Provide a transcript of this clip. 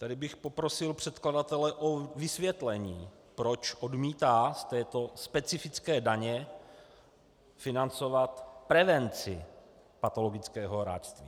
Tady bych poprosil předkladatele o vysvětlení, proč odmítá z této specifické daně financovat prevenci patologického hráčství.